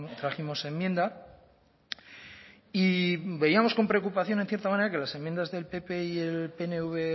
trajimos enmienda y veíamos con preocupación en cierta manera que las enmiendas del pp y el pnv